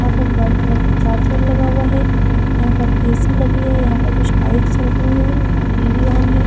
यहां पर white colour का चार्जर लगा हुआ है यहां पर ए_सी लगी है यहां पर कुछ लाइट्स जल रही हैं यहां पर टी_वी ऑन है।